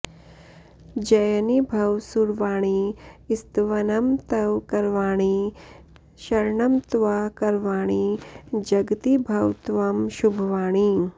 जयिनी भव सुरवाणि स्तवनं तव करवाणि शरणं त्वा करवाणि जगति भव त्वं शुभवाणी